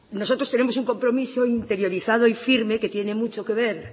nosotros tenemos un compromiso interiorizado y firme que tiene mucho que ver